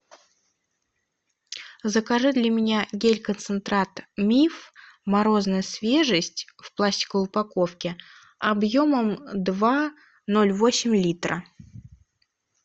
закажи для меня гель концентрат миф морозная свежесть в пластиковой упаковке объемом два ноль восемь литра